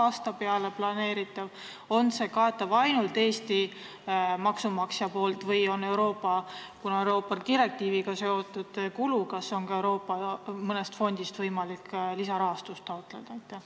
Kas see on planeeritud ühe aasta peale, kas seda katab ainult Eesti maksumaksja või kuna need on Euroopa direktiiviga seotud kulud, siis on ka mõnest Euroopa fondist võimalik lisarahastust taotleda?